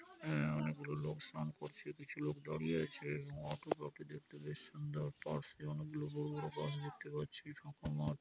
আ অনেকগুলো লোক স্নান করছে। কিছু লোক দাঁড়িয়ে আছে। অটোগ্রাফ - টি দেখতে বেশ সুন্দর। পাশে অনেক গুলো বড় বড় বাস দেখতে পাচ্ছি ফাঁকা মাঠ--